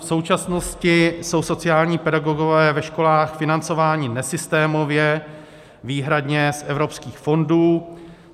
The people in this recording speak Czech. V současnosti jsou sociální pedagogové ve školách financování nesystémově, výhradně z evropských fondů.